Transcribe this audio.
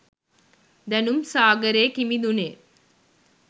දැනුම් සාගරේ කිමිදුනේ